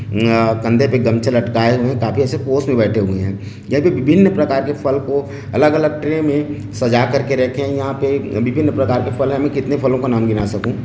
अम्म अ कंधे पे गमछा लटकाए हुए है खाफी ऐसे पोज़ में बैठे हुए है यहाँ पे विभिन्न प्रकार के फल को अलग अलग ट्रे में सजा कर के रखे है यहाँ पे विभिन्न प्रकार के फल है मैं कितने फलों के नाम गिना सकूं --